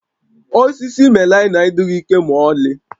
Osisi melaịna adịghị ike ma ọlị